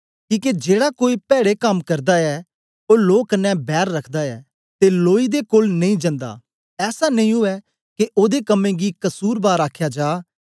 किके जेड़ा कोई पैड़े कम्म करदा ऐ ओ लो कन्ने बैर रखदा ऐ ते लोई दे कोल नेई जंदा ऐसा नेई ऊऐ के ओदे कम्में गी कसुरबार अखाया जा